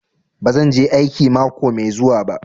Bazan je aiki mako mai zuwa ba.